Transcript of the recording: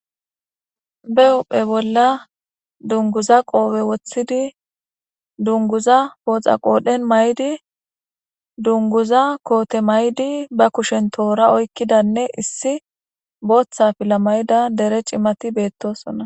be wophphe bolla dunguza qoope woththidi dunguza pooxa qoodhen maydi dunguza koote maydi ba kushen toora oykkidanne issi booththa fila mayida dere cimati beettosona